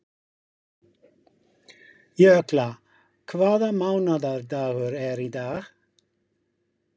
Jökla, hvaða mánaðardagur er í dag?